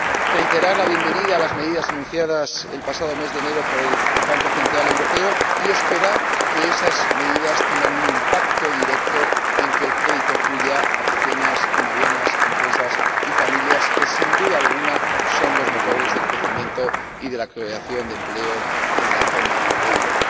Quiero reiterar mi bienvenida a las medidas anunciadas el pasado mes de enero por el Banco Central Europeo, y espero que esas medidas tengan un impacto directo en que el crédito fluya a las pequeñas y medianas empresas y familias que, sin duda alguna, son los motores del crecimiento y de la creación de empleo en la zona del euro.